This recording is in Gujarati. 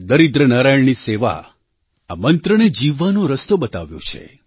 દરિદ્ર નારાયણની સેવા આ મંત્રને જીવવાનો રસ્તો બતાવ્યો છે